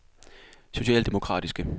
socialdemokratiske